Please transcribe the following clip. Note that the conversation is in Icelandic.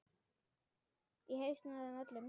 Í hausana á þeim öllum.